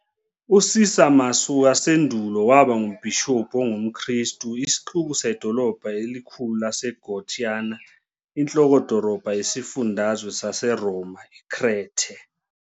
UCisamus wasendulo waba ngumbhishobhi ongumKristu, isixuku sedolobha elikhulu laseGortyna, inhloko-dolobha yesifundazwe saseRoma iKrethe.